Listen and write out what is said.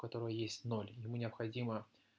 которой есть ноль ему необходимо